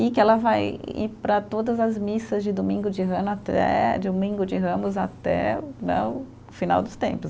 E que ela vai ir para todas as missas de domingo de Rano até, domingo de ramos até né, o final dos tempos.